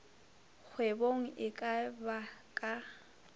kgwebong e ka ba ka